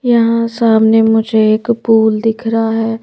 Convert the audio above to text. यहां सामने मुझे एक पूल दिख रहा है ।